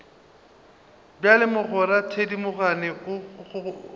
bjalo mogwera thedimogane o kgwatha